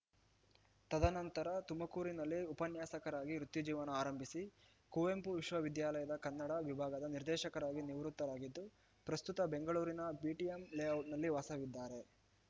ತದ ನಂತರ ತುಮಕೂರಿನಲ್ಲಿ ಉಪನ್ಯಾಸಕರಾಗಿ ವೃತ್ತಿ ಜೀವನ ಆರಂಭಿಸಿ ಕುವೆಂಪು ವಿಶ್ವವಿದ್ಯಾಲಯದ ಕನ್ನಡ ವಿಭಾಗದ ನಿರ್ದೇಶಕರಾಗಿ ನಿವೃತ್ತರಾಗಿದ್ದು ಪ್ರಸ್ತುತ ಬೆಂಗಳೂರಿನ ಬಿಟಿಎಂ ಲೇಔಟ್‌ನಲ್ಲಿ ವಾಸವಿದ್ದಾರೆ